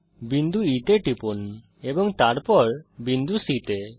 বিন্দু E তে টিপুন এবং তারপর বিন্দু C তে